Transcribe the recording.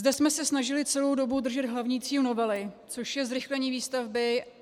Zde jsme se snažili celou dobu držet hlavní cíl novely, což je zrychlení výstavby.